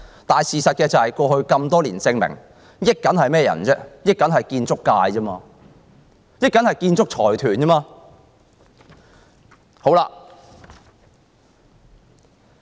但過去多年事實證明，從中獲益的都是建築界、建築財團而已。